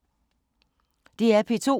DR P2